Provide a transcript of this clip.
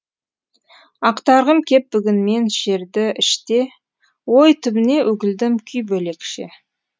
ақтарғым кеп бүгін мен шерді іште ой түбіне үкілдім күй бөлекше